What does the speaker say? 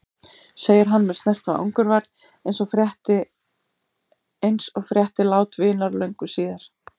segir hann með snert af angurværð eins og frétti lát vinar löngu síðar.